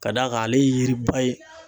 Ka d'a kan ale ye yiriba ye